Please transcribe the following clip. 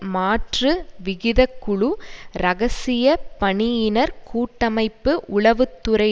மாற்று விகிதக்குழு இரகசிய பணியினர் கூட்டமைப்பு உளவு துறை